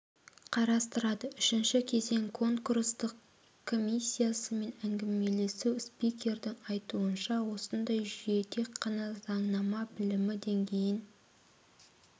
қарастырады үшінші кезең конкурстық комиссиясымен әңгімелесу спикердің айтуынша осындай жүйе тек қана заңнама білімі деңгейін